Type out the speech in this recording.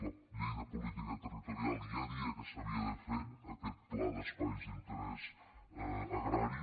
la llei de política territorial ja deia que s’havia de fer aquest pla d’espais d’interès agrari